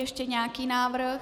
Ještě nějaký návrh?